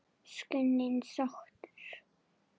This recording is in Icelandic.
Skundi sóttur